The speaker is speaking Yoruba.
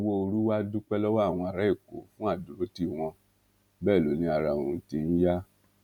sanwóoru wàá dúpẹ lọwọ àwọn ará èkó fún àdúrótì wọn bẹẹ ló ní ara òun ti ń yá